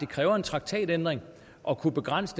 kræver en traktatændring at kunne begrænse